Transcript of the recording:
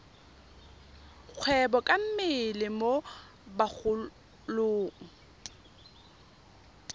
kgwebo ka mmele mo bagolong